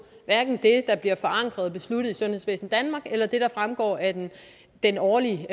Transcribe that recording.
hverken det der bliver forankret og besluttet i sundhedsvæsen danmark eller det der fremgår af den årlige